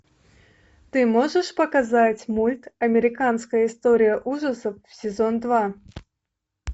ты можешь показать мульт американская история ужасов сезон два